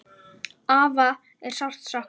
Afa er sárt saknað.